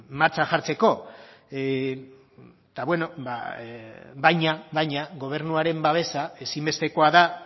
martxan jartzeko eta bueno ba baina gobernuaren babesa ezinbestekoa da